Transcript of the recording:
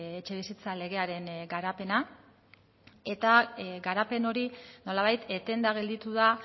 etxebizitza legearen garapena eta garapen hori nolabait etenda gelditu da